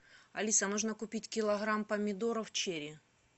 алиса нужно купить килограмм помидоров черри